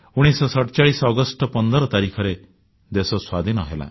1947 ଅଗଷ୍ଟ 15 ତାରିଖରେ ଦେଶ ସ୍ୱାଧୀନ ହେଲା